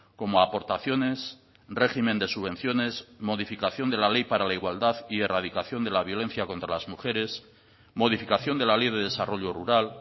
como aportaciones régimen de subvenciones modificación de la ley para la igualdad y erradicación de la violencia contra las mujeres modificación de la ley de desarrollo rural